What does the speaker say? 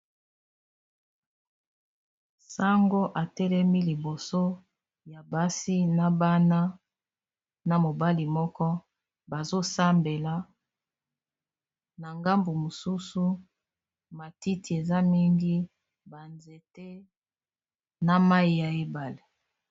Sango atelemi liboso ya basi na bana na mobali moko bazo sambela na ngambu mosusu matiti eza mingi, banzete na mayi ya ebale.